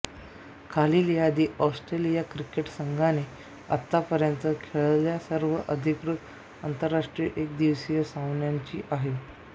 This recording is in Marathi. खालील यादी ऑस्ट्रेलिया क्रिकेट संघाने आतापर्यंत खेळलेल्या सर्व अधिकृत आंतरराष्ट्रीय एकदिवसीय सामन्यांची आहे